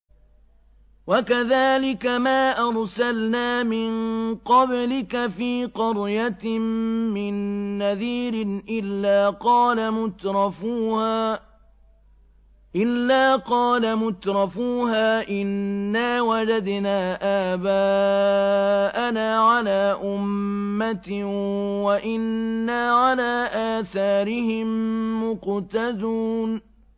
وَكَذَٰلِكَ مَا أَرْسَلْنَا مِن قَبْلِكَ فِي قَرْيَةٍ مِّن نَّذِيرٍ إِلَّا قَالَ مُتْرَفُوهَا إِنَّا وَجَدْنَا آبَاءَنَا عَلَىٰ أُمَّةٍ وَإِنَّا عَلَىٰ آثَارِهِم مُّقْتَدُونَ